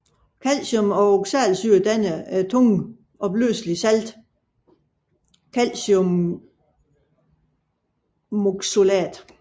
Calcium og oxalsyre danner det tungt opløselige salt calciumoxalat